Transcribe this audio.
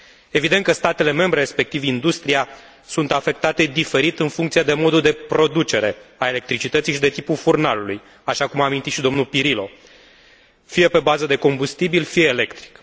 Evident că statele membre, respectiv industria, sunt afectate diferit, în funcție de modul de producere al electricității și de tipul furnalului, așa cum a amintit și domnul Pirillo, fie pe bază de combustibil, fie electric.